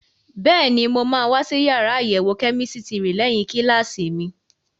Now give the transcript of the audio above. Bẹ́ẹ̀ni, mo máa wá sí yàrá àyẹ̀wò kẹ́mísítírì lẹ́yìn kíláàsì mi.